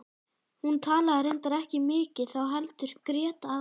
Hún talaði reyndar ekki mikið þá heldur grét aðallega.